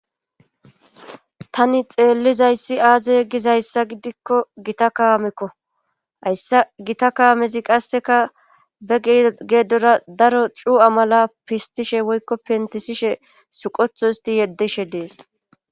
Tani xeellizayssi aaze gizayssa gidikko gita kaamekko hayssa gita kaamezi qasseka be geedora daro cu7a mala pistishe woykko pentisishe suqotho isti yeddishe dees.